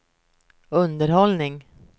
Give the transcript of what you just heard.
underhållning